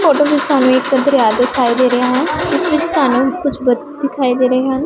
Photo ਚ ਵਿੱਚ ਇੱਕ ਸਾਨੂੰ ਦਰਿਆ ਦਿਖਾਈ ਦੇ ਰਿਹਾ ਹੈ ਸਾਨੂੰ ਕੁਝ ਬੰਦੇ ਦਿਖਾਈ ਦੇ ਰਹੇ ਹਨ।